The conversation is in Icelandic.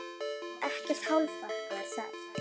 Ekkert hálfkák þar.